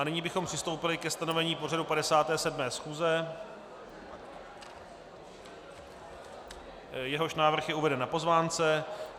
A nyní bychom přistoupili ke stanovení pořadu 57. schůze, jehož návrh je uveden na pozvánce.